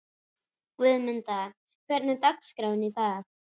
Guðmunda, hvernig er dagskráin í dag?